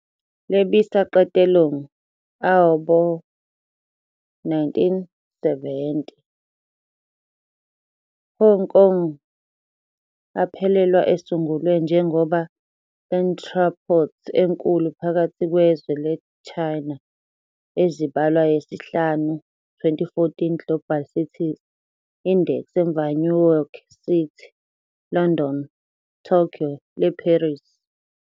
Lebisa qetellong ea bo-1970, Hong Kong aphelelwa esungulwe njengoba entrepôt enkulu phakathi kwezwe le Chaena. E zibalwa yesihlanu 2014 Global Cities Index emva New York City, London, Tokyo le Paris.